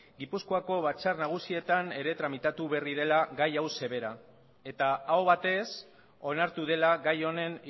gipuzkoako batzar nagusietan ere tramitatu berri dela gai hau sobera eta aho batez onartu dela gai honen